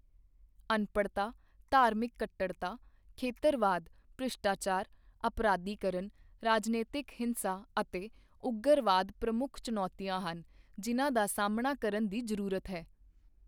ਅਨਪੜ੍ਹਤਾ ਧਾਰਮਿਕ ਕੱਟੜਤਾ ਖੇਤਰਵਾਦ ਭ੍ਰਿਸ਼ਟਾਚਾਰ ਅਪਰਾਧੀਕਰਣ ਰਾਜਨੀਤਿਕ ਹਿੰਸਾ ਅਤੇ ਉਗਰਵਾਦ ਪ੍ਰਮੁੱਖ ਚੁਣੌਤੀਆਂ ਹਨ ਜਿਨ੍ਹਾਂ ਦਾ ਸਾਹਮਣਾ ਕਰਨ ਦੀ ਜ਼ਰੂਰਤ ਹੈ।